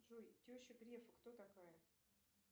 джой теща грефа кто такая